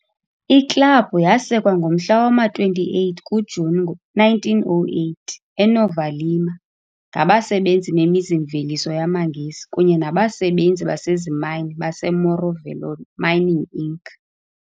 Iklabhu yasekwa ngomhla wama-28 kuJuni ngo-1908, eNova Lima, ngabasebenzi bemizi-mveliso yamaNgesi kunye nabasebenzi basezimayini baseMorro Velho Mining Inc.